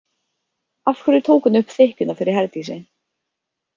Af hverju tók hún upp þykkjuna fyrir Herdísi?